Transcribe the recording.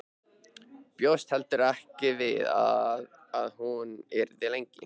Bjóst heldur ekki við að hún yrði lengi.